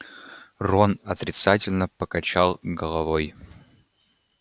рон отрицательно покачал головой